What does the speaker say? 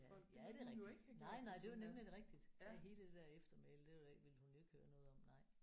Ja ja det er rigtigt. Nej nej det er jo nemlig rigtigt. Det er hele det der eftermæle det ville hun jo ikke høre noget om nej